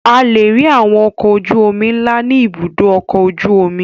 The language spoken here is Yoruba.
A lè rí àwọn ọkọ̀ ojú-omi ńlá ní Ibùdó-ọkọ̀ ojú-omi.